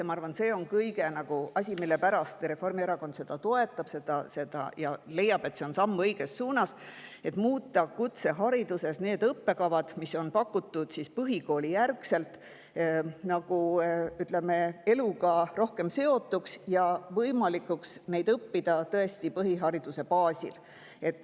Ma arvan, et see on asi, mille pärast Reformierakond toetab ja leiab, et see on samm õiges suunas – muuta kutsehariduses need õppekavad, mida on pakutud põhikoolijärgselt, ütleme, eluga rohkem seotuks võimalik neid õppida tõesti põhihariduse baasil.